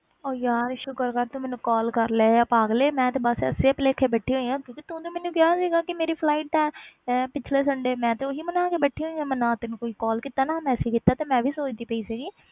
ਉਹ ਯਾਰ ਸ਼ੁਕਰ ਕਰ ਤੂੰ ਮੈਨੂੰ call ਕਰ ਲਿਆ ਪਾਗਲੇ ਮੈਂ ਤੇ ਬਸ ਇਸੇ ਭੁਲੇਖੇ ਬੈਠੀ ਹੋਈ ਹਾਂ ਕਿਉਂਕਿ ਤੂੰ ਤੇ ਮੈਨੂੰ ਕਿਹਾ ਸੀਗਾ ਕਿ ਮੇਰੀ flight ਹੈ ਇਹ ਪਿੱਛਲੇ sunday ਮੈਂ ਤੇ ਉਹੀ ਬਣਾ ਕੇ ਬੈਠੀ ਹੋਈ ਹਾਂ, ਮੈਂ ਨਾ ਤੈਨੂੰ ਕੋਈ call ਕੀਤਾ, ਨਾ message ਕੀਤਾ ਤੇ ਮੈਂ ਵੀ ਸੋਚਦੀ ਪਈ ਸੀਗੀ,